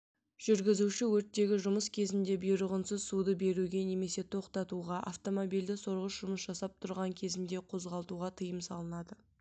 жүргізуші өрттегі жұмыс кезінде бұйрығынсыз суды беруге немесе тоқтатуға автомобильді сорғыш жұмыс жасап тұрған кезінде қозғалтуға тыйым салынады